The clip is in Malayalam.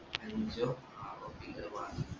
അഞ്ചോ ആറോ beer വാങ്ങിന്